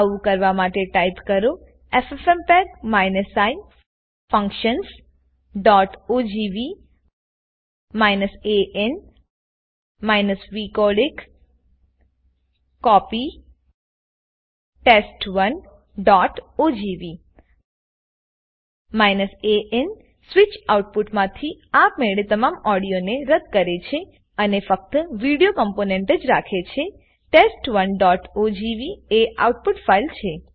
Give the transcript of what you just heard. આવું કરવા માટે ટાઈપ કરો એફએફએમપેગ i functionsઓજીવી an vcodec કોપી test1ઓજીવી an સ્વીચ આઉટપુટમાંથી આપમેળે તમામ ઓડીઓને રદ કરે છે અને ફક્ત વિડીઓ કમ્પોનેન્ટ જ રાખે છેTEST1ogv એ આઉટપુટ ફાઈલ છે